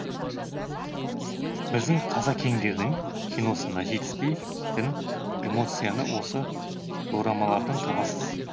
біздің қазекеңдердің киносында жетіспейтін эмоцияны осы дорамалардан табасыз